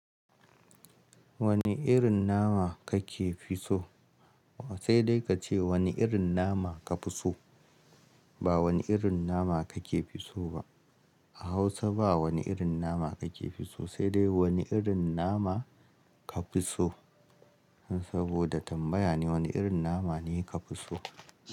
Wani irin nama kake fitso? Sai dai kace wani irin nama ka fiso, ba wani irin nama kake fiso ba. A Hausa ba wani irin nama kake fitso ba, sai dai wani irin nama ka fitso. Saboda tambaya ne, wani irin nama ne ka fiso?